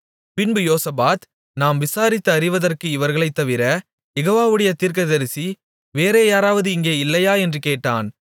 பின்பு யோசபாத் நாம் விசாரித்து அறிவதற்கு இவர்களைத் தவிர யெகோவாவுடைய தீர்க்கதரிசி வேறே யாராவது இங்கே இல்லையா என்று கேட்டான்